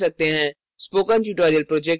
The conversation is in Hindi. spoken tutorial project team